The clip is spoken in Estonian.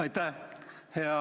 Aitäh!